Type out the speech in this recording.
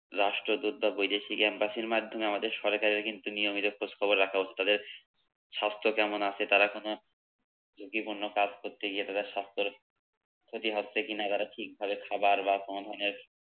রাষ্ট্রদুত বা বৈদেশিক embassy র মাধ্যমে আমাদের সরকারের কিন্তু নিয়মিত খোঁজখবর রাখা ও তাদের স্বাস্থ্য কেমন আছে, তারা কোনো ঝুঁকিপূর্ণ কাজ করতে গিয়ে তাদের স্বাস্থ্যের ক্ষতি হচ্ছে কি না তারা ঠিকভাবে খাবার বা কোনো ধরণের